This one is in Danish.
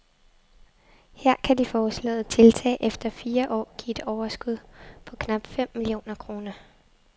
Her kan de foreslåede tiltag efter fire år give et overskud på knap fem millioner kroner.